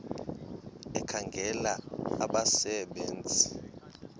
ekhangela abasebe nzi